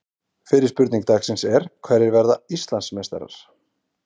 Fyrri spurning dagsins er: Hverjir verða Íslandsmeistarar?